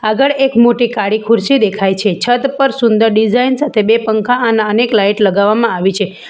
આગળ એક મોટી કાળી ખુરશી દેખાય છે છત પર સુંદર ડિઝાઇન સાથે બે પંખા અને અનેક લાઈટ લગાવવામાં આવી છે.